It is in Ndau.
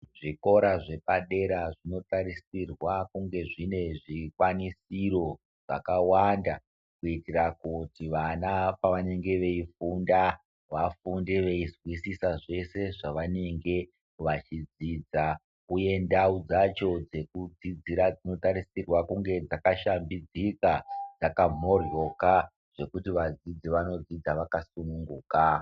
Zvikora zvepadera zvinotarisirwa kunge zvine zvikwanisiro zvakawanda kuitira kuti vana pavanenge veifunda vafunde veizwisisa zvese zvavanenge veizwisisa zvese zvavanenge vachidzidza uye ndau dzacho dzekudzidzira dzinotarisirwa kunge dzakashambidzika dzakamborwoka dzekuti vadzidzi vanodzidza vakasununguka.